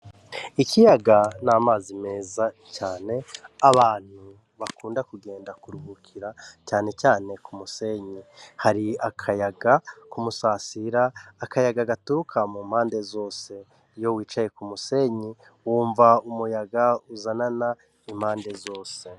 Ikiyaga n'amazi meza cane abantu bakunda kugenda ku ruhukira canecane ku musenyi hari akayaga ku umusasira akayaga gaturuka mu mpande zose iyo wicaye ku musenyi wumva umuyaga uzanana impande zose.